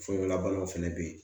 Forolabanaw fɛnɛ be yen